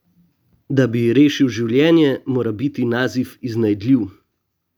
Da bi ji rešil življenje, mora biti Nazif iznajdljiv ...